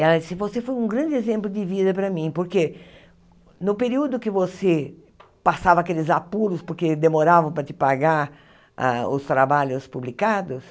Ela disse, você foi um grande exemplo de vida para mim, porque no período que você passava aqueles apuros, porque demoravam para te pagar ah os trabalhos publicados,